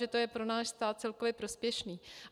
Že to je pro náš stát celkově prospěšné.